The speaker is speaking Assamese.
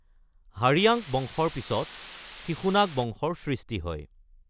হাৰিয়াংক বংশৰ পিছত শিশুনাগ বংশৰ সৃষ্টি হয়।